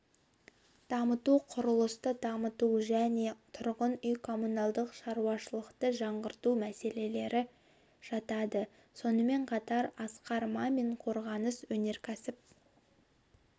дамыту құрылысты дамыту және тұрғын үй-коммуналдық шаруашылықты жаңғырту мәселелері жатады сонымен қатар асқар мамин қорғаныс-өнеркәсіп